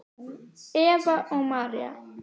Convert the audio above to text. Eva og María.